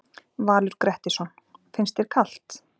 Valur Grettisson: Finnst þér kalt?